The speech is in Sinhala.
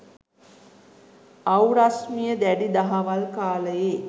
අව් රශිමිය දැඩි දහවල් කාලයේ